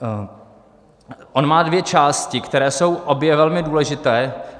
On má dvě části, které jsou obě velmi důležité.